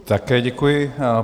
Také děkuji.